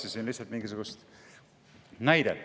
Ma otsisin lihtsalt mingisugust näidet.